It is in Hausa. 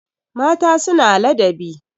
mata suna ladabi